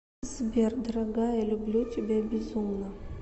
сбер дорогая люблю тебя безумно